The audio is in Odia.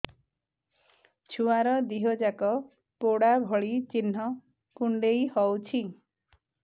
ଛୁଆର ଦିହ ଯାକ ପୋଡା ଭଳି ଚି଼ହ୍ନ କୁଣ୍ଡେଇ ହଉଛି